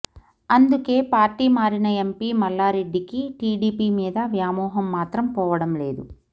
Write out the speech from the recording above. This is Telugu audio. అందుకే పార్టీ మారిన ఎంపీ మల్లారెడ్డికి టీడీపీ మీద వ్యామోహం మాత్రం పోవడం లేదు